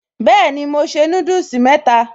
Bẹ́ẹ̀ni mo se núdùsì mẹ́ta